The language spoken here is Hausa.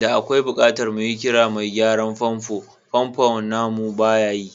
Da akwai bukatar mu kira mai gyaran famfo, famfon namu baya yi.